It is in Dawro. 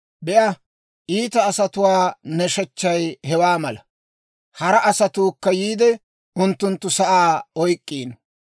Be'a, iita asatuwaa nashechchay hawaa mala. Hara asatuukka yiide, unttunttu sa'aa oyk'k'iino.